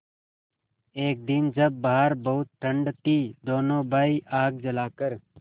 एक दिन जब बाहर बहुत ठंड थी दोनों भाई आग जलाकर